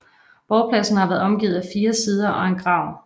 Borgpladsen har været omgivet af fire sider og en grav